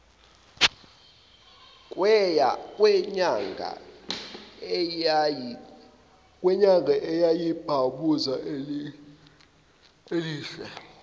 kwenyanga eyayiyibhamuza elihle